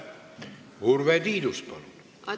Urve Tiidus, palun!